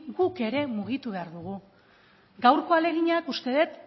guk ere mugitu behar dugu gaurko ahaleginak uste dut